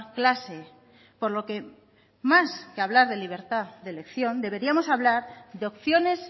clase por lo que más que hablar de libertad de elección deberíamos hablar de opciones